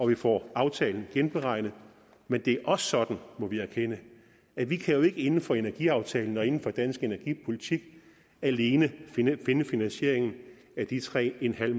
vi får aftalen genberegnet men det er også sådan må vi erkende at vi jo ikke inden for energiaftalen og inden for dansk energipolitik alene kan finde finde finansieringen af de tre